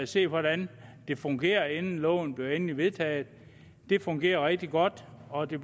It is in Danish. se hvordan det fungerer inden loven bliver endelig vedtaget det fungerer rigtig godt og det